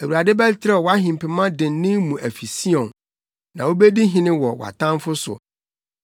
Awurade bɛterɛw wʼahempema dennen mu afi Sion; na wubedi hene wɔ wʼatamfo so.